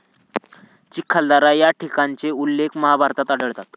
चिखलदरा या ठिकाणचे उल्लेख महाभारतात आढळतात.